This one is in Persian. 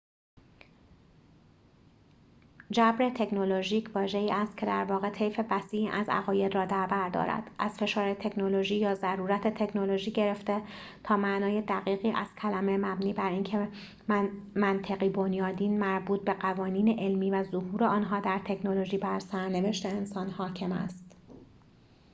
جبر تکنولوژیک واژه‌ای است که درواقع طیف وسیعی از عقاید را دربر دارد از فشار تکنولوژی یا ضرورت تکنولوژیکی گرفته تا معنای دقیقی از کلمه مبنی بر اینکه منطقی بنیادین مربوط به قوانین علمی و ظهور آنها در تکنولوژی بر سرنوشت انسان حاکم است